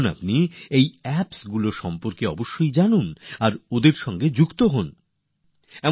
আপনারা এই অ্যাপগুলি সম্পর্কে জানুন এগুলির সঙ্গে যুক্ত হয়ে যান